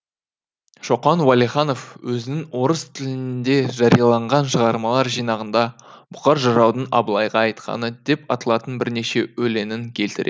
шоқан уәлиханов өзінің орыс тілінде жарияланған шығармалар жинағында бұқар жыраудың абылайға айтқаны деп аталатын бірнеше өлеңін келтіреді